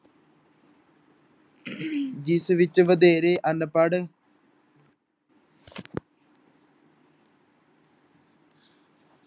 ਜਿਸ ਵਿੱਚ ਵਧੇਰੇ ਅਨਪੜ੍ਹ